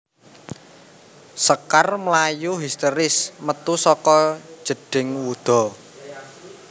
Sekar mlayu histèris metu saka jedhing wuda